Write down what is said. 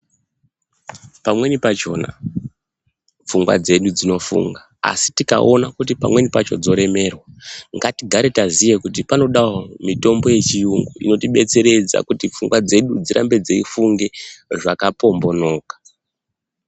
Pamweni pachona pfungwa dzedu dzinofunga asi tikaona kuti pamweni pachodzoremerwa ngatigare taiziye kuti panodawo mitombo yechiyungu inotidetseredza kuti pfungwa dzedu dzirambe dzeifunga zvakapombonoka.